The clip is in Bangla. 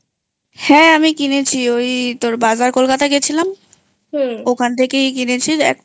হ্যাঁ কিনেছি ওই তোর বাজার কলকাতা গেছিলাম হুম ওখান থেকেই কিনেছি